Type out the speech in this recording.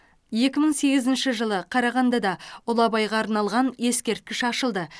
екі мың сегізінші жылы қарағандыда ұлы абайға арналған ескерткіш ашылды